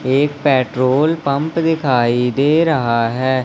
एक petrol pump दिखाई दे रहा है।